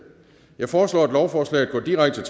jeg foreslår at lovforslaget går direkte